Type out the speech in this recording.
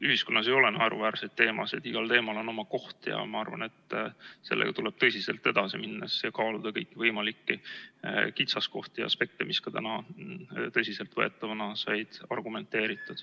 Ühiskonnas ei ole naeruväärseid teemasid, igal teemal on oma koht ja ma arvan, et sellega tuleb tõsiselt edasi minnes kaaluda kõikvõimalikke kitsaskohti, aspekte, mis ka täna tõsiselt võetavana said argumenteeritud.